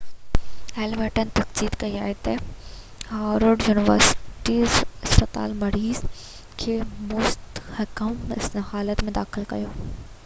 Hamilton تصديق ڪئي ته هاورڊ يونيورسٽي اسپتال مريض کي مستحڪم حالت ۾ داخل ڪيو